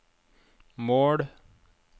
mål